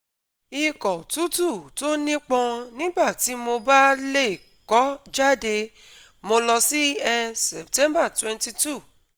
Ikọ̀ tútù tó nípọn nígbà tí mo bá lè kọ́ jáde, mo lọ sí er Sept22